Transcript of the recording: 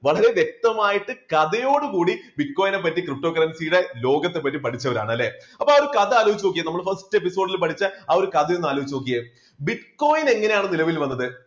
വളരെ വ്യക്തമായിട്ട് കഥയോടു കൂടി bitcoin നെ പറ്റി ptocurrency യുടെ ലോകത്തെപ്പറ്റി പഠിച്ചവരാണ് അല്ലേ, അപ്പൊ ആ ഒരു കഥ ആലോചിച്ചു നോക്കിയെ നമ്മൾ first episode ൽ പഠിച്ച ആ ഒരു കഥ ഒന്നാലോചിച്ചു നോക്കിയെ bitcoin എങ്ങനെയാണ് നിലവിൽ വന്നത്?